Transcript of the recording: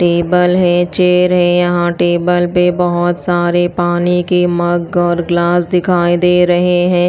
Table है chair है यहां टेबल पे बहोत सारे पानी के मग और ग्लास दिखाई दे रहे हैं।